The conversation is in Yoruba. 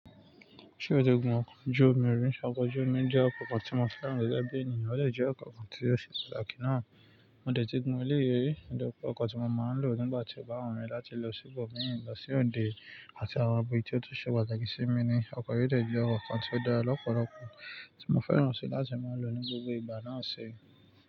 Ṣé o ti gun ọkọ̀ ojú omi rí? Ọkọ̀ ojú omi jẹ́ ọkọ̀ kan tí mo fẹ́ràn gẹ́gẹ́ bí ènìyàn, ó dé jẹ́ ọkọ̀ kan tí ó ṣe pàtàkì ná. Mo dẹ̀ tí gun ilé ìwé, òdo ọkọ̀ tí mo máa ń lò nígbà tí ó bá wù mí láti lọ sí ibòmíràn, lọ sí òde àti àwọn ibi tí ó tún ṣe pàtàkì sí mi ni. Ọkọ̀ yìí dé jẹ́ ọkọ̀ kan tí ó dára lọ́pọ̀lọpọ̀ tí mo fẹ́ràn ṣí láti máa ń lò ní gbogbo ìgbà náà ṣe.